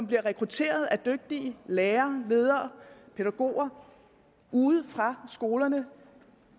bliver rekrutteret dygtige lærere ledere og pædagoger ude fra skolerne